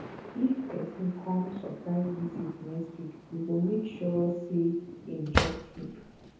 if pesin come surprise visit next week we go make sure sey im chop food